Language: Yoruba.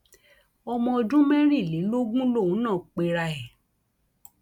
ọmọ ọdún mẹrìnlélógún lòun náà pera ẹ